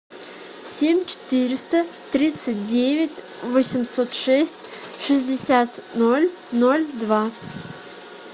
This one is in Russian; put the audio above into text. семь четыреста тридцать девять восемьсот шесть шестьдесят ноль ноль два